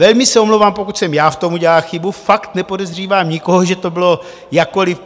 Velmi se omlouvám, pokud jsem já v tom udělal chybu, fakt nepodezřívám nikoho, že to bylo jakkoliv.